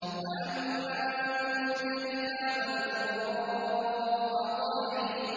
وَأَمَّا مَنْ أُوتِيَ كِتَابَهُ وَرَاءَ ظَهْرِهِ